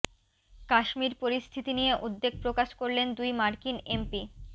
কাশ্মীর পরিস্থিতি নিয়ে উদ্বেগ প্রকাশ করলেন দুই মার্কিন এমপি